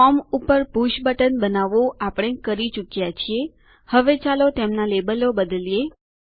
form ઉપર push button બનાવવાનું આપણે પતાવી ચુક્યા છીએ હવે ચાલો તેમના લેબલો બદલીયે